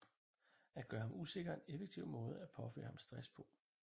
At gøre ham usikker er en effektiv måde at påføre ham stress på